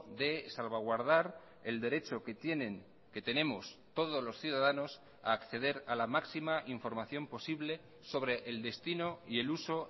de salvaguardar el derecho que tienen que tenemos todos los ciudadanos a acceder a la máxima información posible sobre el destino y el uso